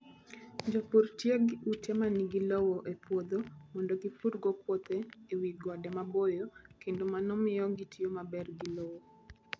Jopur tiyo gi ute ma nigi lowo e puodho mondo gipurgo puothe e wi gode maboyo, kendo mano miyo gitiyo maber gi lowo.